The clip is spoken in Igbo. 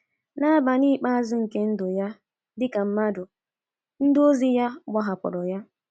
N’abalị ikpeazụ nke ndụ ya dị ka mmadụ, ndị ozi ya gbahapụrụ ya.